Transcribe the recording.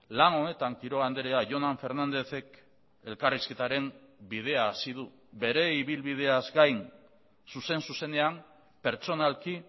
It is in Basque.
lan honetan quiroga andrea jonan fernándezek elkarrizketaren bidea hasi du bere ibilbideaz gain zuzen zuzenean pertsonalki